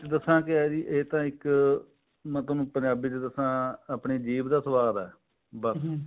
ਦੱਸਾਂ ਕੀ ਹੈ ਜੀ ਇਹ ਤਾਂ ਇੱਕ ਮੈਂ ਤੁਹਾਨੂੰ ਪੰਜਾਬੀ ਚ ਦੱਸਾਂ ਆਪਣੀ ਜੀਭ ਦਾ ਸਵਾਦ ਹੈ ਬਸ